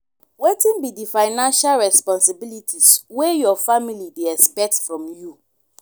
wetin be di financial responsibilities wey your family dey expect from you?